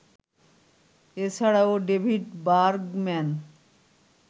এছাড়াও David Bergman